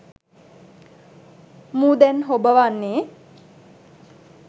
මූ දැන් හොබවන්නේ